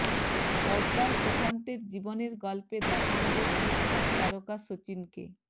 পর্দায় সুশান্তের জীবনের গল্পে দেখা যাবে টিকটক তারকা শচীনকে